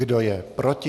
Kdo je proti?